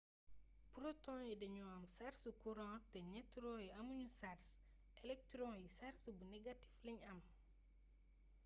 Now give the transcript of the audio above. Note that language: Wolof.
proton yi dañoo am sarsu kuraŋ te nëtron yi amu ñu sars elektron yi sars bu negatif la am